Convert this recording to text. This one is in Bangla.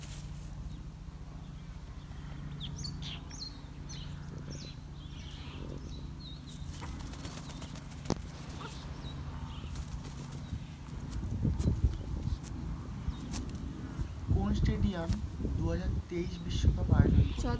কোন stadium দু হাজার তেইশ বিশ্ব, বিশ্বকাপ অয়োজন করবে?